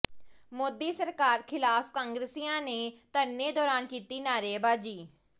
ਮੋਦੀ ਸਰਕਾਰ ਖਿਲਾਫ਼ ਕਾਂਗਰਸੀਆਂ ਨੇ ਧਰਨੇ ਦੌਰਾਨ ਕੀਤੀ ਨਾਅਰੇਬਾਜ਼ੀ